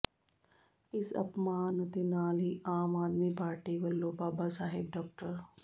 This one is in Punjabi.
ਇਸ ਅਪਮਾਨ ਅਤੇ ਨਾਲ ਹੀ ਆਮ ਆਦਮੀ ਪਾਰਟੀ ਵੱਲੋਂ ਬਾਬਾ ਸਾਹਿਬ ਡਾ